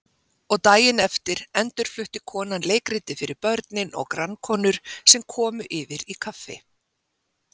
og daginn eftir endurflutti konan leikritið fyrir börnin og grannkonur sem komu yfir í kaffi.